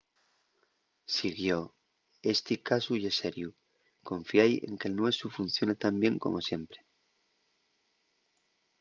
siguió: esti casu ye seriu. confiái en que'l nuesu funciona tan bien como siempre